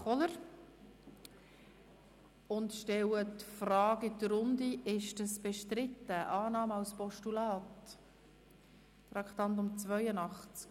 Kohler und stelle die Frage in die Runde, ob die Annahme des Postulats bestritten ist.